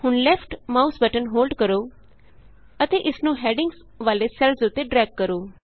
ਹੁਣ left mouse button hold ਕਰੋ ਅਤੇ ਇਸ ਨੂੰ ਹੈਡਿੰਗਸ ਵਾਲੇ ਸੈੱਲਸ ਉਤੇ ਡਰੈਗ ਕਰੋ